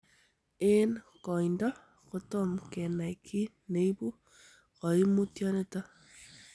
En oindo, kotom kenai kiy neibu koimutioniton.